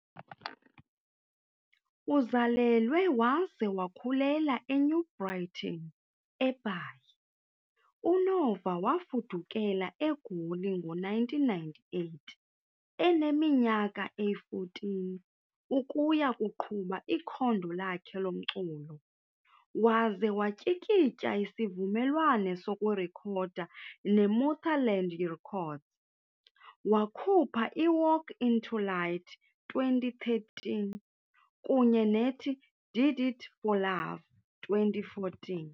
Uzalelwe waze wakhulela eNew Brighton, eBhayi, uNova wafudukela eGoli ngo-1998 eneminyaka eyi-14 ukuya kuqhuba ikhondo lakhe lomculo waze watyikitya isivumelwano sokurekhoda neMuthaland Records, wakhupha iWalk Into Light, 2013, kunye nethi Did It For Love, 2014.